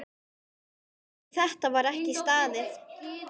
Við þetta var ekki staðið.